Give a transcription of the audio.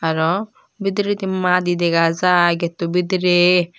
arow bidiredi madi dega jai getto bidirey.